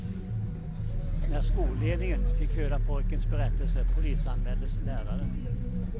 När skolledningen fick höra pojkens berättelse polisanmäldes läraren.